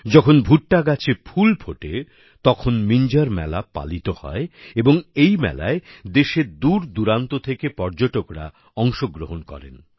যখন ভুট্টা গাছে ফুল ফোটে তখন মিঞ্জর মেলা পালিত হয় এবং এই মেলায় দেশের দূরদূরান্ত থেকে পর্যটকরা অংশগ্রহণ করেন